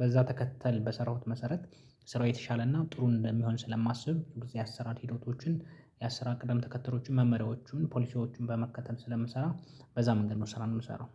በዛ ተከተል በሰራሁት መሰረት ስራው የተሻለና ጥሩ እንደሚሆን ስለማስብ የአሰራር ሂደቶችን የአሰራር ቅደም ተከተሎቹን መመሪያዎቹን ፖሊሲዎቹን በመከተል ስለምሰራ በዛ መንገድ ነው ስራን የምሰራው